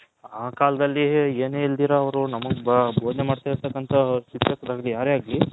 ಆ ಕಾಲದಲ್ಲಿ ಏನು ಇಲ್ಲದಿರೋ ಅವರು ನಮ್ಮಗೆ ಬೊದನೆ ಮಡ್ತಾ ಇರತಕಂತ ಶಿಕ್ಷಕರು ಯಾರೇ ಆಗ್ಲಿ